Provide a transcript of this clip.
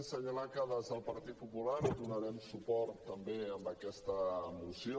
assenyalar que des del partit popular donarem suport també a aquesta moció